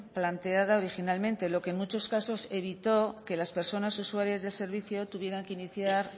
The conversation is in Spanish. planteada originalmente lo que en muchos casos evitó que las personas usuarias del servicio tuvieran que iniciar